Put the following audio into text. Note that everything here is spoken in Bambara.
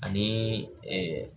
Ani